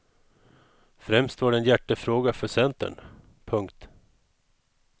Främst var det en hjärtefråga för centern. punkt